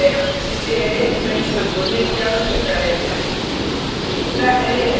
पहला डिलिमीटर है जिससे अरै एलिमेंट्स को जोडने की आवश्यकता है